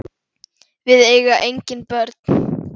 Við eiga engin börn.